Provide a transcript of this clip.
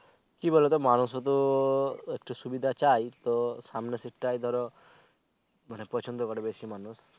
কি বলে তো মানুষও তো একটু শুবিধা চায় তো সামনের seat টা ধরো প্ছন্দ করে বেশি মানুষ